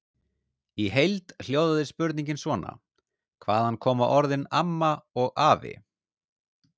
Í heild hljóðaði spurningin svona: Hvaðan koma orðin AMMA og AFI?